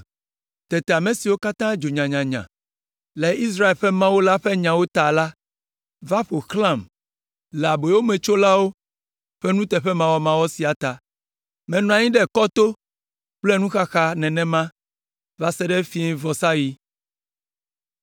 Tete ame siwo katã dzodzonyanya lé le Israel ƒe Mawu la ƒe nyawo ta la va ƒo xlãm le aboyometsolawo ƒe nuteƒemawɔmawɔ sia ta. Menɔ anyi de kɔ to kple nuxaxa nenema va se ɖe fiẽvɔsaɣi.